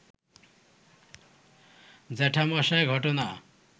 জ্যাঠামশায় ঘটনা